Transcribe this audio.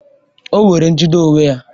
O nwere njide onwe ya